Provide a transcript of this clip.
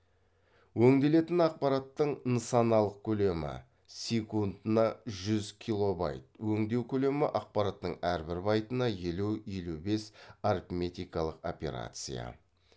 өңделетін ақпараттың нысаналық көлемі секундына жүз килобайт өңдеу көлемі ақпараттың әрбір байтына елу елу бес арифметикалық операция